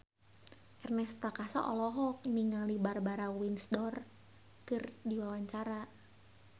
Ernest Prakasa olohok ningali Barbara Windsor keur diwawancara